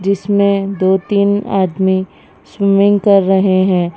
जिसमें दो तीन आदमी स्विमिंग कर रहे हैं।